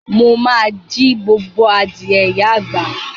Mo ma jí gbogbo adìẹ ìyá àgbà.